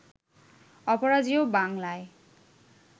অপরাজেয় বাংলায়